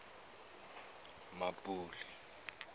mmapule